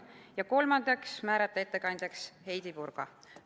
Ja kolmandaks otsustati määrata ettekandjaks Heidy Purga.